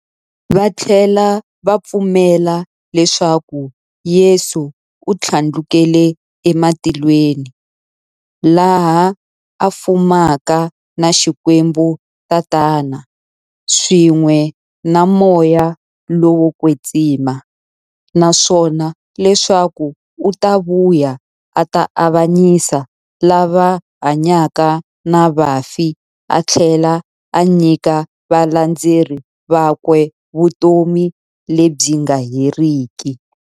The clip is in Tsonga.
Vathlela va pfumela leswaku Yesu u thlandlukele ematilweni, laha a fumaka na Xikwembu-Tatana, swin'we na Moya lowo kwetsima, naswona leswaku u ta vuya a ta avanyisa lava hanyaka na vafi athlela a nyika valandzeri vakwe vutomi lebyi nga heriki.